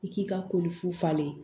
I k'i ka ko fu falen